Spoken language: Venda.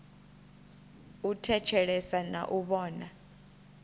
u thetshelesa na u vhona